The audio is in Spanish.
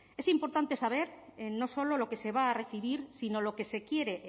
es importante saber no solo lo que se va a recibir sino lo que se quiere